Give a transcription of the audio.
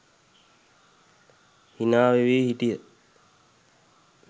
හිනා වේවි හිටිය.